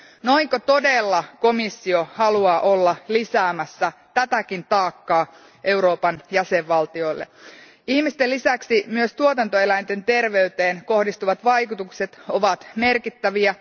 Haluaako komissio todella olla lisäämässä tätäkin taakkaa Euroopan jäsenvaltioille? Ihmisten lisäksi myös tuotantoeläinten terveyteen kohdistuvat vaikutukset ovat merkittäviä.